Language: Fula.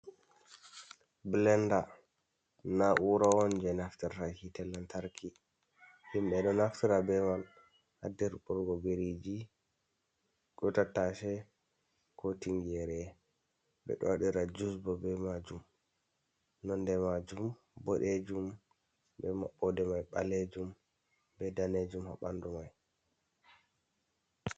Blenda na'ura on je naftirta hitte lantarki, himɓɓe ɗo naftira be mai ha dirɓugo biriji, tattace, ko tingere, ɓe ɗo waɗira jus bo be majum. Nonde majum boɗejum be maɓɓode mai ɓalejum, be danejum ha ɓanɗu mai.